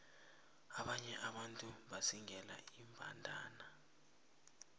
abanye abantu bazingela iimbandana